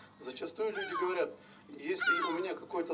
зачастую люди говорят если у меня какой то